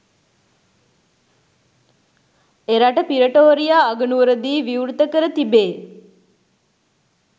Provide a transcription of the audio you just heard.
එරට පි්‍රටෝරියා අගනුවරදී විවෘත කර තිබේ.